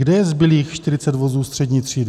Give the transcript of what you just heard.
Kde je zbylých 40 vozů střední třídy?